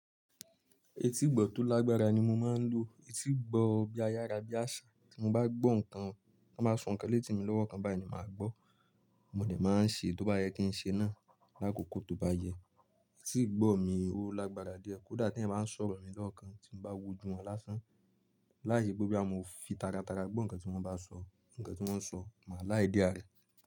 Etígbọ̀ tó lágbára ni mo máa ń lò. Etígbọ̀ bí ayára, bí àṣà. Tí mo bá gbọ́ nǹkan, tọ́ báa sọ ǹkan létí mi lọ́wọ́ kan, báyìí ni màá gbọ́. Mò dẹ máa ń ṣe tó bá yẹ kí n ṣe náà lákòókò tó bá yẹ. Etígbọ̀ mi ó lágbára díẹ̀, kódà t'èyàn bá ń sọ̀rọ̀ mi lọ́wọ́ kan, tí mo bá wojú wọn lásán. Láì ṣe bóyá mo fi taratara gbọ́ ǹkan tí wọ́n bá sọ, ǹkan tí wọ́n sọ, màá lá idea rẹ.